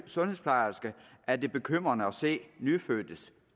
sundhedsplejersker er det bekymrende at se nyfødtes